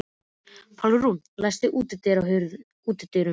Pálrún, læstu útidyrunum.